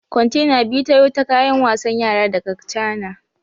Kwantena biyu tayo ta kayan wasan yara daga Chana